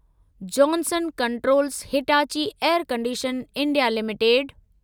Johnson controls Hitachi air condition India limited